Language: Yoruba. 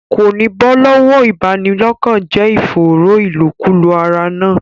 Kò ní bọ́ lọ́wọ́ ìbanilọ́kànjẹ́ ìfòòró ìlòkulò ara náà.